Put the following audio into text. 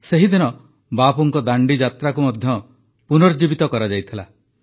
ସେହିଦିନ ବାପୁଙ୍କ ଦାଣ୍ଡିଯାତ୍ରାକୁ ମଧ୍ୟ ପୁନର୍ଜୀବିତ କରାଯାଇଥିଲା